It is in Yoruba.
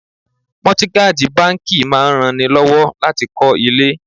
Mọ́tígájì báńkì máa ran ni lọ́wọ́ láti kọ́ ilé.